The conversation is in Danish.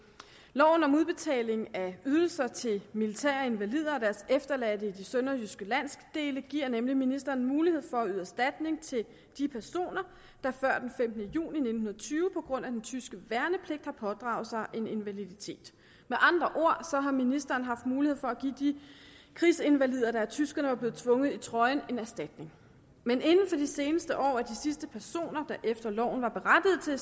loven om udbetaling af ydelser til militære invalider og deres efterladte i de sønderjyske landsdele giver nemlig ministeren mulighed for at yde erstatning til personer der før den femtende juni nitten tyve på grund af den tyske værnepligt har pådraget sig en invaliditet med andre ord har ministeren haft mulighed for at give de krigsinvalider der af tyskerne var blevet tvunget i trøjen en erstatning men inden for de seneste år er de sidste personer der efter loven var berettiget